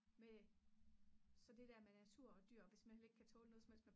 med så det der med natur og dyr hvis man heller ikke kan tåle noget som helst